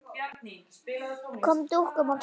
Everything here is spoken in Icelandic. Kom fyrir dúkum og kertum.